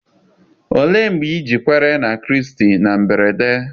Olee mgbe ị ji kwere na Kraịst na mberede?